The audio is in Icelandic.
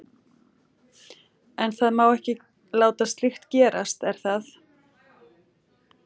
En það má ekki láta slíkt gerast er það?